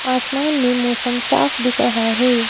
आसमान में मौसम साफ दिख रहा है ।